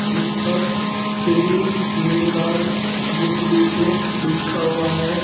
जिस पर Shri Hinglaj book depot लिखा हुआ है।